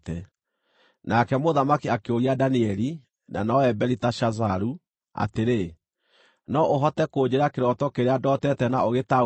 Nake mũthamaki akĩũria Danieli (na nowe Beliteshazaru) atĩrĩ, “No ũhote kũnjĩĩra kĩroto kĩrĩa ndootete na ũgĩtaũre?”